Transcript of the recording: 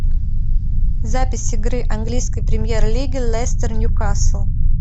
запись игры английской премьер лиги лестер ньюкасл